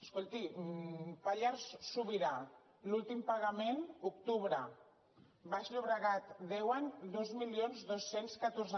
escolti pallars sobirà l’últim pagament octubre baix llobregat deuen dos mil dos cents i catorze